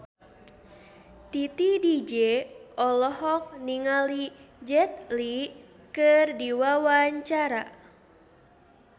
Titi DJ olohok ningali Jet Li keur diwawancara